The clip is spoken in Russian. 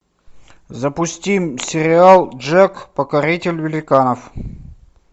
запусти сериал джек покоритель великанов